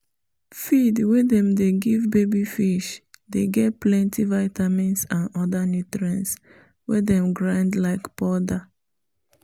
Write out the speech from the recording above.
feed wey them dey give baby fish dey get plenty vitamins and other nutrients wey them grind like powder